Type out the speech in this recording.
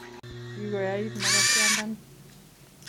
Kigoyait makatiandani